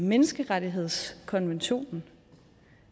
menneskerettighedskonventionen